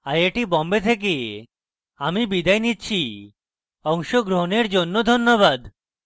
I I T Bombay থেকে আমি বিদায় নিচ্ছি অংশগ্রহনের জন্য ধন্যবাদ